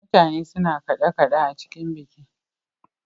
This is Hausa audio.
Mutane suna kaɗe- kaɗe a cikin biki.